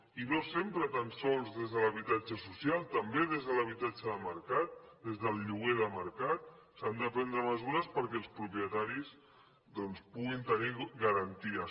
i no sempre tan sols des de l’habitatge social també des de l’habitatge de mercat des del lloguer de mercat s’han de prendre mesures perquè els propietaris doncs puguin tenir garanties